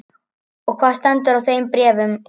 Og hvað stendur í þeim bréfum?